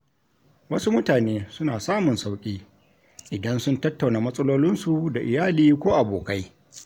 Wasu mutane suna samun sauƙi, idan sun tattauna matsalolinsu da iyali ko abokai.